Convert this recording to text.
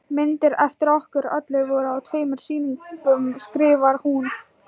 Myndir eftir okkur öll voru á tveimur sýningum skrifar hún.